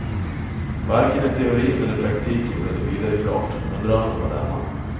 Varken i teorin eller praktiken blev det vidare klart, men drömmen var denna.